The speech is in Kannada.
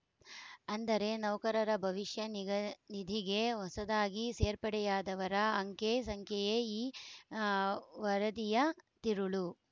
ಅಂದರೆ ನೌಕರರ ಭವಿಷ್ಯ ನಿಗ ನಿಧಿಗೆ ಹೊಸದಾಗಿ ಸೇರ್ಪಡೆಯಾದವರ ಅಂಖ್ಯೆ ಸಂಖ್ಯೆಯೇ ಈ ವರದಿಯ ತಿರುಳು